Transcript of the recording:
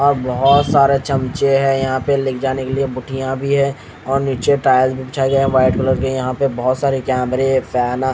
अ बहुत सारे चमचे हैं यहाँ पे लिख जाने के लिए बुटियाँ भी हैं और नीचे टाइल भी बिछाए गए हैं व्हाईट कलर के यहाँ पे बहुत सारे कैमरे हैं फैन --